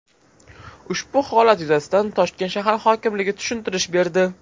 Ushbu holat yuzasidan Toshkent shahar hokimligi tushuntirish berdi .